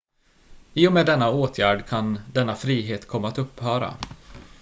i och med denna åtgärd kan denna frihet komma att upphöra